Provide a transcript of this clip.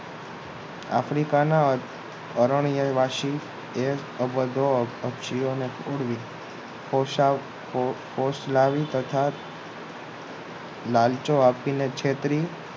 આફ્રિકાના હરણીય વાસી અભદ્ર પક્ષીઓ પોષ પોષકોષ લાવી લાલચો આપીને છેતરી